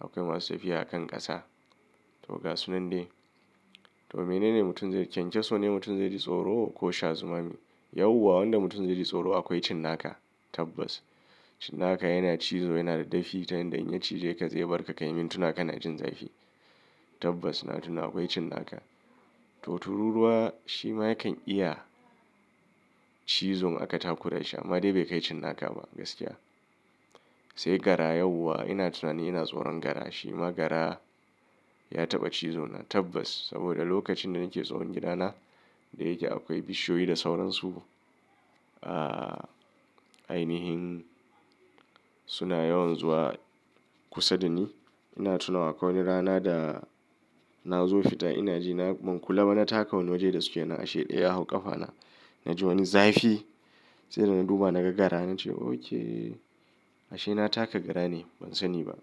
akwai masu tafiya a kan ƙasa. To ga sunan dai. To menene mutum zai, kyankyaso ne mutum zai ji tsoro ko sha zumami? Yauwa wanda mutum zai ji tsoro akwai cinnaka, tabbas. Cinnaka yana cizo yana da dafi ta yanda in ya cije ka zai bar ka ka yi mintuna kana jin zafi. Tabbas na tuna akwai cinnaka. To tururuwa shi ma yakan iya cizo in aka takura shi amma dai bai kai cinnaka ba gaskiya. Sai gara yauwa ina tunanin ina tsoron gara. Shi ma gara ya taɓa cizo na. Tabbas saboda lokacin da nake tsohon gidana da yake akwai bishiyoyi da sauransu. A ainihin suna yawan zuwa kusa dani. Ina tuna akwai wani rana da nazo fita ina ji na ban kula ba. Na taka wani waje da suke na ashe ɗaya a hau ƙafana. Naji wani zafi sai da na duba naga gara nace ok ashe na taka gara ne ban sani ba.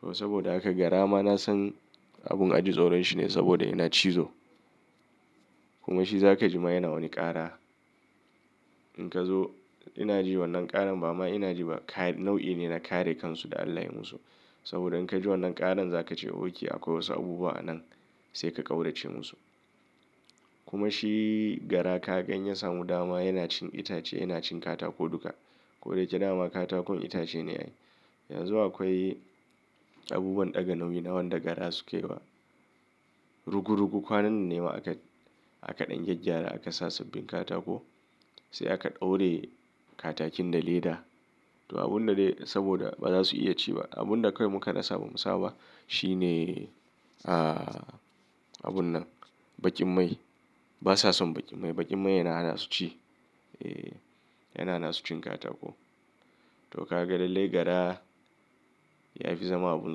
To saboda haka gara ma na san abun aji tsoron shi ne saboda yana cizo. Kuma shi za ka ji ma yana wani ƙara. In ka zo ina ji wannan ƙaran ba ma ina ji ba. Kai nau'i ne na kare kansu da Allah yayi musu. Saboda in ka ji wannan ƙaran za ka ce ok akwai wasu abubuwa a nan sai ka ƙaurace musu. Kuma shi gara ka ga in ya samu dama yana cin itace, yana cin katako duka. Koda yake dama katakon itace ne ai. Yanzu akwai abubuwan ɗaga nauyi na wanda gara suke wa rugu rugu kwanan ne ma aka, aka ɗan gyaggyara aka sa sabbin katako. Sai aka ɗaure katakin da leda. To abun da dai saboda ba za su iya ci ba. Abunda kawai muka rasa bamusa ba shine ah abun nan, baƙin mai. Ba sa son baƙin mai. Baƙin mai yana hana su ci. E yana hana su cin katako. To ka ga lallai gara ya fi zama abin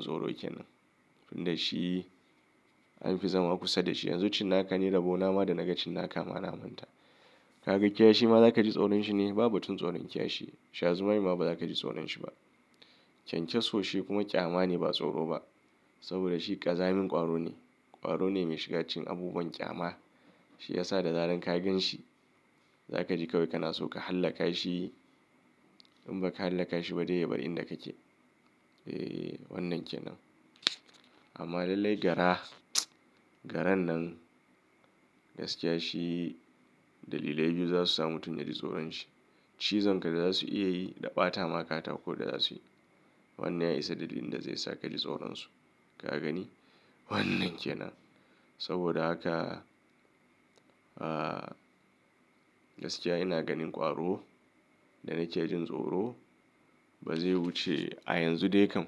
tsoro kenan. Tun da shi an fi zama kusa da shi. Yanzu cinnaka ne, rabona ma da na ga cinnaka ma na manta. Ka ga kiyashi ma za ka ji tsoron shi ne? Babu tun tsoron kiyashi. Sha zumami ma ba za ka ji tsoron shi ba. Kyankyaso shi kuma ƙyama ne ba tsoro ba. Saboda shi ƙazamin ƙwaro ne. Ƙwaro ne mai shiga cikin abubuwan ƙyama. Shi ya sa da zarar ka gan shi za ka ji kawai kana so ka hallaka shi. In ba ka hallaka shi ba dai ya bar inda kake. E wannan kenan. Amma lallai gara, garan nan gaskiya shi dalilai biyu za su sa mutum ya ji tsoron shi. Cizonka da zasu iya yi da ɓatama katako da zasu yi. Wannan ya isa dalilin da zai sa kaji tsoron su. Ka gani? Wannan kenan. Saboda haka, ah gaskiya ina ganin ƙwaro da nake jin tsoro ba zai wuce a yanzu dai kam.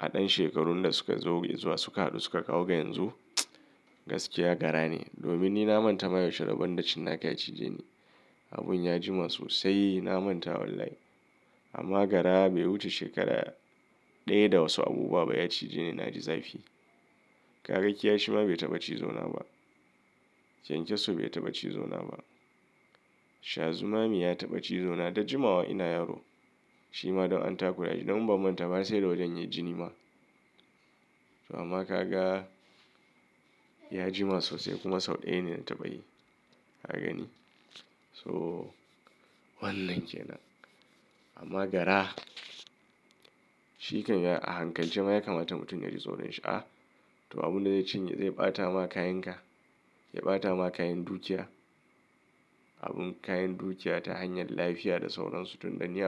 A ɗan shekarun da suka zo zuwa suka haɗu suka kawo ga yanzu, gaskiya gara ne. Domin ni na manta ma yaushe rabon da cinnaka ya cije ni. Abun ya jima sosai na manta wallahi. Amma gara bai wuce shekara ɗaya da wasu abubuwa ba ya cije ni, na ji zafi. Ka ga kiyashi ma bai taɓa cizo na ba. Kyankyaso bai taɓa cizo na ba. Sha zumami ya taɓa cizo na da jimawa ina yaro. Shi ma don an takura shi, don in ban manta ba sai da wajen yai jini ma. To amma ka ga ya jima sosai kuma sau ɗaya ne na taɓa yi. Ka gani? So wannan kenan. Amma gara shi kan yi a hankalce ma ya kamata mutum ya ji tsoron shi a. To abun da zai cinye zai ɓata ma kayan ka, zai ɓata ma kayan dukiya. Abun kayan dukiya ta hanyar lafiya da sauran su tun da ni.